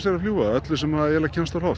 að fljúga öllu sem kemst á loft